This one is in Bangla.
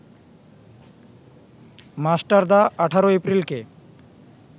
মাস্টারদা ১৮ এপ্রিলকে